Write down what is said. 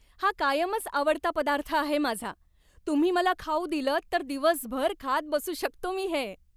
हा कायमच आवडता पदार्थ आहे माझा, तुम्ही मला खाऊ दिलंत तर दिवसभर खात बसू शकतो मी हे.